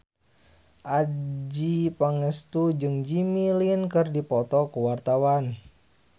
Adjie Pangestu jeung Jimmy Lin keur dipoto ku wartawan